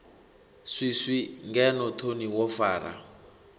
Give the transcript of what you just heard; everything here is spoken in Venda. swiswi ngeno thoni wo fara